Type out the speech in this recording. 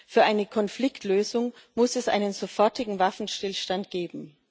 Für eine Konfliktlösung muss es einen sofortigen Waffenstillstand geben.